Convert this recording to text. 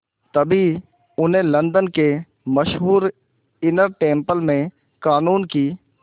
तभी उन्हें लंदन के मशहूर इनर टेम्पल में क़ानून की